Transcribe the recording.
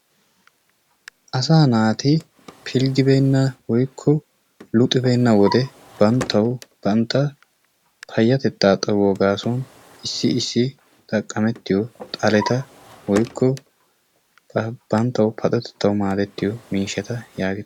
Asaa naati pilggibeenna woykko luxxibeenna wode bantawu banta payatettaa xayuwa gaasuwan issi issi xaqqametiyo xaleta woykko banttawu paxotettawu maadettiyo miishshata yage...